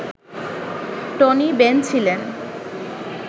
Tony Benn ছিলেন